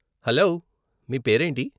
Hello, మీ పేరేంటి?